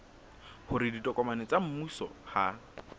hore ditokomane tsa mmuso ha